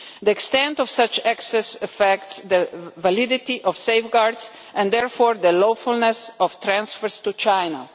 The extent of such access affects the validity of safeguards and therefore the lawfulness of transfers to China.